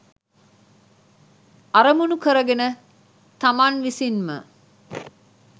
අරමුණු කරගෙන තමන් විසින්ම